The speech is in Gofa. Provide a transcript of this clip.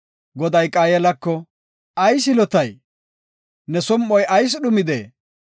Goday Qaayelako, “Ayis yilotay? Ne som7oy ayis dhumidee?